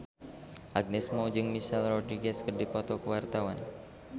Agnes Mo jeung Michelle Rodriguez keur dipoto ku wartawan